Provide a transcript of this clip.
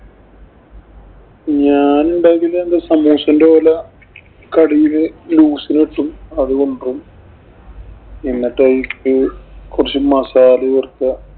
ഞാനുണ്ടാക്കിയാ സമൂസേന്‍റെ കടേന്നു loos ഇല് കിട്ടും. അത് വാങ്ങിക്കും. എന്നിട്ട് അതിലേക്കു കൊറച്ച് മസാല ചേര്‍ക്കുക.